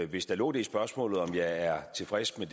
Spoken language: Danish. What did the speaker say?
hvis der lå det i spørgsmålet om jeg er tilfreds med